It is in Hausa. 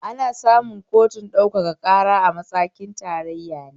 Ana samun kotun ɗaukaka ƙara a matakin tarayya ne